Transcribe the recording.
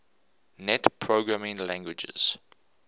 net programming languages